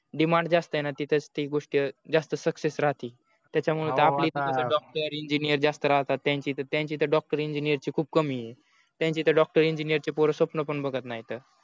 demand जास्त आहेन तिथे ही गोष्ट जास्त success राहते त्याच्या मुळे तर आपल्या इकडे doctor engineer जास्त राहतत त्यांचा इथ doctor engineer ची खूप कमी आहे त्यांचा इथ doctor engineer पोर स्वप्न पण बगत नहीत